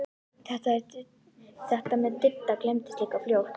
Þetta með Didda gleymdist líka fljótt.